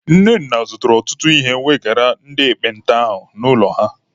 Nnenna zụrụ ọtụtụ ihe wegara ndị ekpenta ahụ n'ụlọ ha.